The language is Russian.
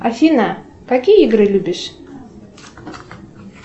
афина какие игры любишь